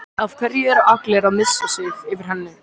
Af hverju er allir að missa sig yfir henni?